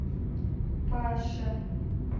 паше